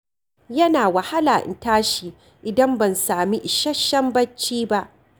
Yana wahala in tashi idan ban sami isasshen bacci ba.